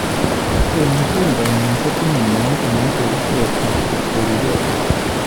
Eng keldo nyi kotinye moet neicheru bek ak kokwerukei.